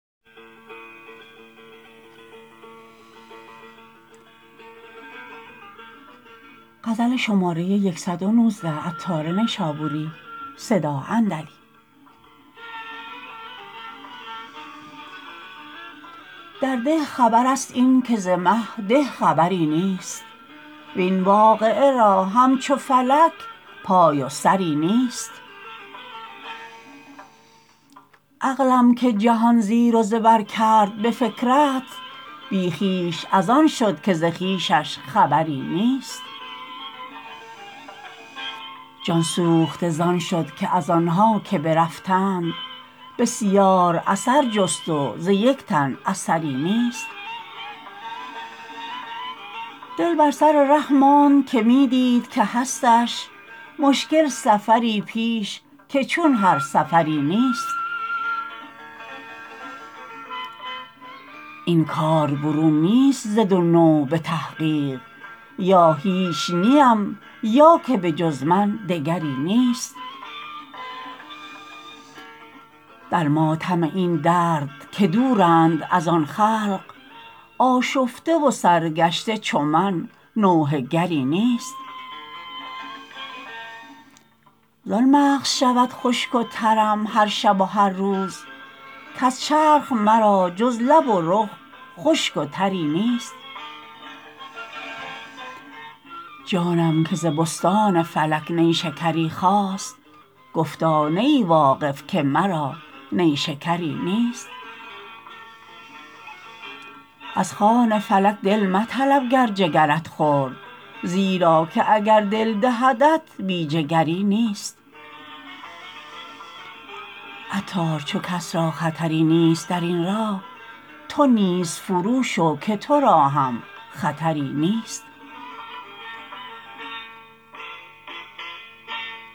در ده خبر است این که ز مه ده خبری نیست وین واقعه را همچو فلک پای و سری نیست عقلم که جهان زیر و زبر کرد به فکرت بی خویش از آن شد که ز خویشش خبری نیست جان سوخته زان شد که از آنها که برفتند بسیار اثر جست و ز یک تن اثری نیست دل بر سر ره ماند که می دید که هستش مشکل سفری پیش که چون هر سفری نیست این کار برون نیست ز دو نوع به تحقیق یا هیچ نیم یا که به جز من دگری نیست در ماتم این درد که دورند از آن خلق آشفته و سرگشته چو من نوحه گری نیست زان مغز شود خشک و ترم هر شب و هر روز کز چرخ مرا جز لب و رخ خشک و تری نیست جانم که ز بستان فلک نیشکری خواست گفتا نه ای واقف که مرا نیشکری نیست از خوان فلک دل مطلب گر جگرت خورد زیرا که اگر دل دهدت بی جگری نیست عطار چو کس را خطری نیست درین راه تو نیز فرو شو که تورا هم خطری نیست